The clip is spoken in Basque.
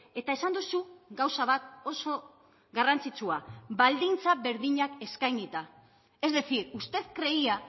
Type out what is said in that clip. eta esan duzu gauza bat oso garrantzitsua baldintza berdinak eskainita es decir usted creía